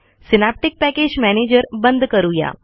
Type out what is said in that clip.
synaptic package manager बंद करुया